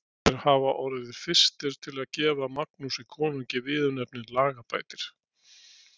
Munu þeir hafa orðið fyrstir til að gefa Magnúsi konungi viðurnefnið lagabætir.